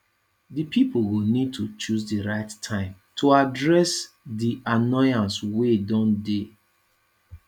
di pipo go need to choose di right time to address di annoyance wey don dey